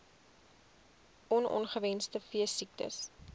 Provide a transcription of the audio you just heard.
on ongewenste veesiektes